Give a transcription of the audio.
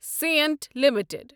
Saint limited